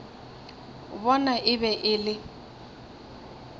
bona e be e le